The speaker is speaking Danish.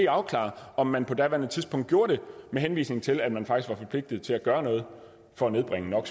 afklare om man på daværende tidspunkt gjorde det med henvisning til at man faktisk var forpligtet til at gøre noget for at nedbringe no